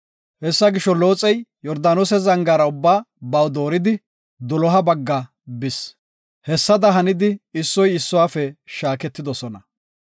Hessa gisho, Looxey Yordaanose zangaara ubba baw dooridi doloha bagga bis. Hessada hanidi issoy issuwafe shaaketidosona.